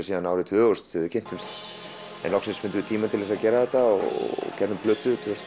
síðan tvö þúsund þegar við kynntumst en loksins fundum við tíma til að gera þetta og gerðum plötu tvö þúsund